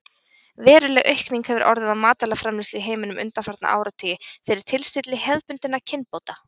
Veruleg aukning hefur orðið á matvælaframleiðslu í heiminum undanfarna áratugi fyrir tilstilli hefðbundinna kynbóta.